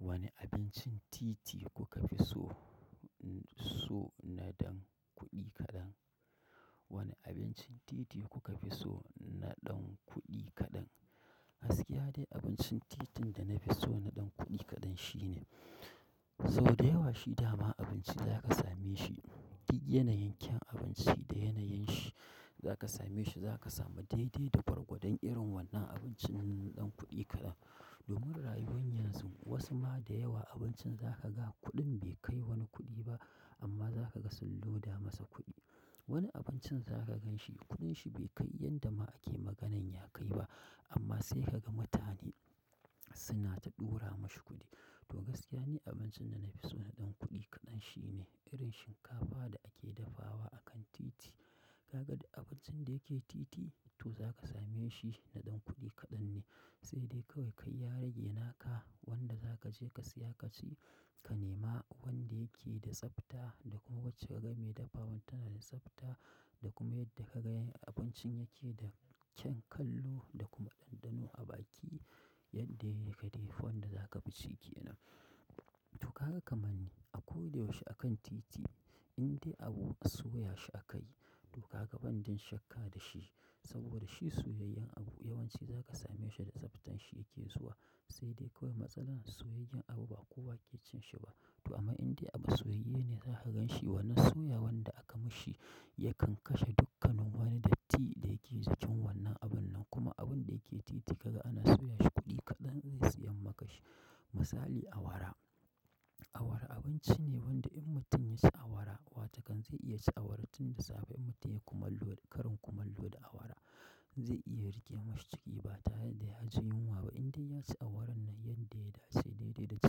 Wane abincin titi kuka fi so? So na ɗan kuɗi kaɗan. Wane abincin titi kuka fi so na ɗan kuɗi kaɗan? Gaskiya dai abincin titin da nafi so na dan kuɗi kaɗan shine, sau da yawa shi dama abinci zaka same shi, duk yanayin kyan abinci da yanayinshi, zaka same shi zaka samu daidai da gwargwadon irin wannan abincin na dan kuɗi kaɗan. Domin rayuwar yanzu wasu ma da yawa abincin za ka ga kuɗin bai kai wani kuɗi ba, amma za ka ga sun loda masa kuɗi. Wani abincin za ka ganshi kuɗin shi bai kai yanda ma ake maganan ya kai ba, amma sai ka ga mutane suna ta ɗora mashi kuɗi. To gaskiya ni abincin da na fi so na ɗan kuɗi kaɗan shine, irin shinkafa da ake dafawa akan titi. Ka ga duk abincin da yake titi? To za ka same shi na ɗan kuɗi kaɗan ne. Sai dai kawai kai ya rage naka wanda za ka je ka siya ka ci, ka nema wanda yake da tsafta da kuma wacce ka ga mai dafawan tana da tsafta da kuma yadda ka ga abincin yake da kyan kallo da kuma ɗanɗano a baki, yadda yake da yafi wanda za ka fi ci kenan. To haka kaman ni a koda yaushe akan titi inda abu soya shi aka yi to ka ga ban jin shakka da shi, saboda shi soyayyan abu yawanci za ka same shi da tsaftan shi yake zuwa. Sai dai kawai matsalar soyayyen abu ba kowa ke cin shi ba. To amma inda abu soyayye ne za ka gan shi wannan soya wanda aka mashi, yakan kashe dukkanin wani datti da yake jikin wannan abun nan, kuma abunda yake titi ka ga ana soya shi kuɗi kaɗan zai siyan maka shi. Misali awara. Awara abinci ne wanda in mutum ya ci awara wata kan zai iya cin awara tun da safe in mutum ya kumallo da, kariin kumallo da awara zai iya rike masa ciki ba tare da ya ji yunwa ba, inda ya ci awaran nan yadda ya dace dai dai da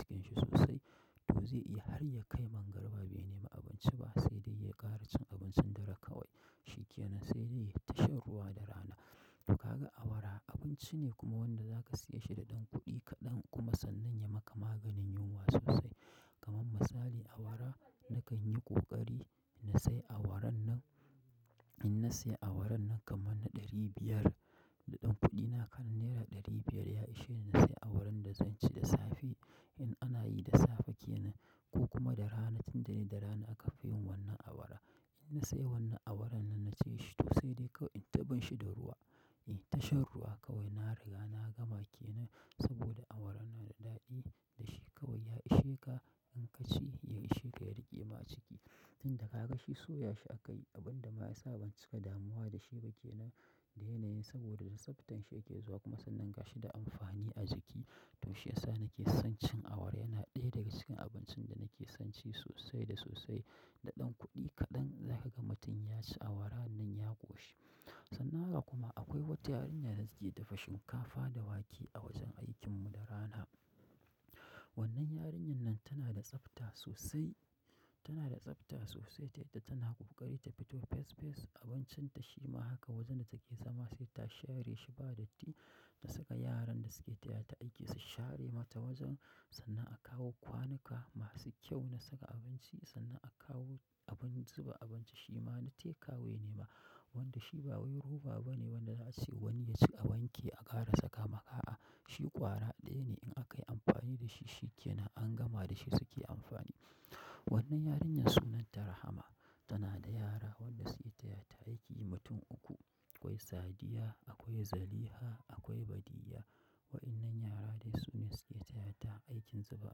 cikin shi sosai. To zai iya har ya kai magariba bai nema abinci ba, sai dai ya ƙara cin abincin dare kawai. Shikenan sai dai ya yi ta shan ruwa da rana. To ka ga awara abinci ne kuma wanda za ka siya shi da ɗan kuɗi kaɗan kuma sannan ya maka maganin yunwa sosai. Kaman misali awara na kan yi ƙoƙari na sai awaran nan, in na siya awaran nan kaman na ɗari biyar da ɗan kuɗina kaɗan naira ɗari biyar ya ishe ni na sayi awaran da zan ci da safe. In ana yi da safe kenan ko kuma da rana, tun da dai da rana aka fi yin wannan awara. In na sai wannan awaran nan na ci shi to sai dai kawai in ta bin shi da ruwa. In ta shan ruwa kawai na riga na gama kenan, saboda awaran nan da daɗi da shi kawai ya ishe ka in ka ci ya ishe ka ya rike ma ciki. Tun da ka ga shi soya shi aka yi abun da ma ya sa ban cika damuwa da shi ba kenan, da yanayin saboda da tsaftan shi yake zuwa kuma sannan ga shi da amfani a jiki. To shi ya sa nake son cin awara, yana ɗaya daga cikin abincin da na ke son ci sosai da sosai. Da ɗan kuɗi kaɗan zaka ga mutum ya ci awaran nan ya ƙoshi. Sannan haka kuma akwai wata yarinya da suke dafa shinkafa da wake a wajen aikin mu da rana. Wannan yarinyan nan tana da tsafta sosai, tana da tsafta sosai ta yadda tana ƙoƙari ta fito fes fes abincin ta shi ma haka wajen da take zama sai ta share shi ba datti, ta saka yaran da suke tayata aiki su share mata wajen sannan a kawo kwanuka masu kyau na saka abinci sannan a kawo abin zuba abinci shi ma na teka wai nema. Wanda shi ba wai roba bane wanda za a ce wani ya ci a wanke a ƙara saka ma a'a. Shi ƙwara ɗaya ne in aka yi amfani da shi shi ke nan an gama da shi suke amfani. Wannan yarinyar sunanta Rahama, tana da yara wanda suke taya ta aiki mutum uku. Akwai Sadiya, akwai Zaliha, akwai Badiyya. Wa'innan yara dai su ne suke tayata aikin zuba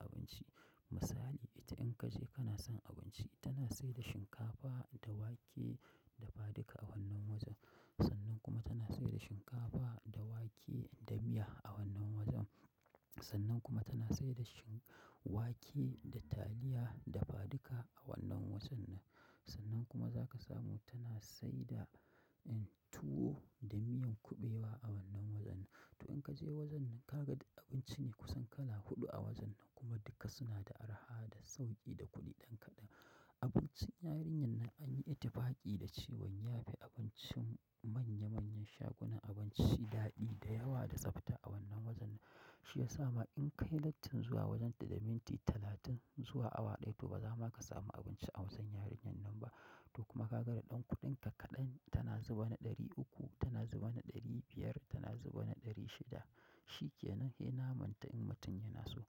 abinci. Misali ita in ka je kana son abinci tana sai da shinkafa da wake dafa duka a wannan wajen. Sannan kuma tana sai da shinkafa da wake da miya a wannan wajen. Sannan kuma tana sai da shin- wake da taliya dafaduka a wannan wajen nan. Sannan kuma za ka samu tana sai da, en, tuwo da miyan kuɓewa a wannan wajen nan. To in ka je wajen nan, ka ga da abinci ne kusan kala huɗu a wajen nan kuma duka suna da araha da sauƙi da kuɗi ɗan kaɗan. Abincin yarinyan nan an yi ittifaƙi da cewan ya fi abincin manya manyan shagunan abinci daɗi da yawa da tsafta a wannan wajen nan. Shi ya sa ma in ka yi lattin zuwa wajen ta da minti talatin zuwa awa ɗaya to ba za ma ka samu abinci a wajen yarinyan nan ba. To kuma ka ga da ɗan kuɗinka kaɗan tana zuba na ɗari uku, tana zuba na ɗari biyar, tana zuba na ɗari shida. Shikenan, sai namanta in mutum yana so.